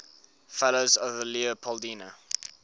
fellows of the leopoldina